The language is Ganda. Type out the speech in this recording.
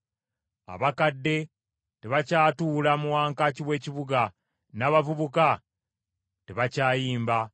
Abakadde tebakyatuula mu wankaaki w’ekibuga, n’abavubuka tebakyayimba.